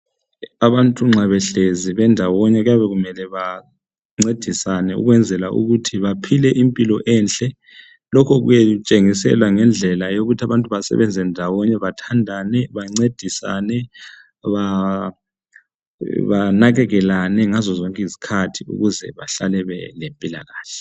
Abantu nxa behlezi bendawonye kuyabe kumele bancedisane ukwenzela ukuthi baphile impilo enhle .Lokhu kuyabe kutshengisela ngendlela yokuthi abantu basebenze ndawonye, bathandane ,bancedisane banakekelane ngazo zonke izikhathi ukuze bahlale belempilakahle.